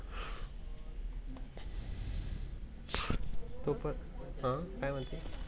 तो पन अह काय म्हणती?